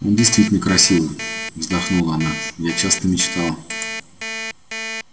он действительно красивый вздохнула она я часто мечтала